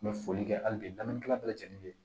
N bɛ foli kɛ hali bi dannikɛla bɛɛ lajɛlen bɛ